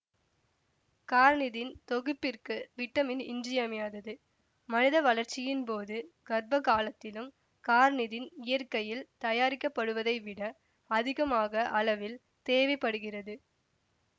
carnitine தொகுப்பிற்கு vitamin இன்றியமையாதது மனித வளர்ச்சியின் போதும் கர்ப்ப காலத்திலும் கார்னிதின் இயற்கையில் தயாரிக்கப்படுவதைவிட அதிகமாக அளவில் தேவை படுகிறது